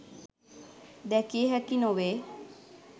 දැකිය හැකි නොවේ.